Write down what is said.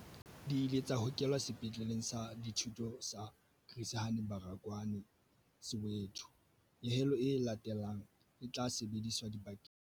Di ile tsa hokelwa Sepetleleng sa Dithuto sa Chris Hani Baragwanath Soweto. Nyehelo e latelang e tla sebediswa dibakeng tsa Kapa Bophirimela.